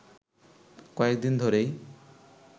কয়েকদিন ধরেই